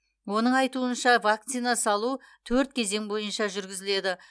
оның айтуынша вакцина салу төрт кезең бойынша жүргізіледі